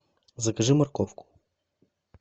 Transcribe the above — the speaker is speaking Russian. закажи морковку